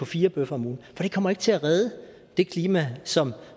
fire bøffer om ugen det kommer ikke til at redde det klima som